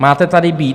Máte tady být!